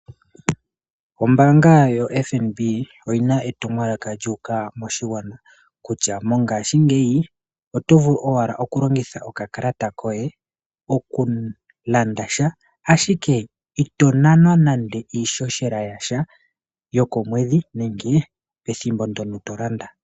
Ombaanga yoFNB oyina etumwalaka lyuuka moshigwana, kutya mongashingeyi otovulu owala okulongitha okakalata koye oku landasha ashike ito nanwa nande iishoshela yasha yo komwedhi nenge pethimbo ndono tolanda.